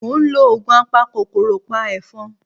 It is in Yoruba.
Mo ń lo oògùn apakòkòrò pa ẹ̀fọn